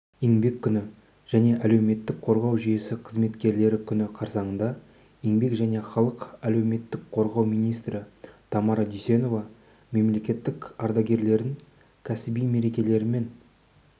еңбек күні және әлеуметтік қорғау жүйесі қызметкерлері күні қарсаңында еңбек және халықты әлеуметтік қорғау министрі тамара дүйсенова министрлік ардагерлерін кәсіби мерекелерімен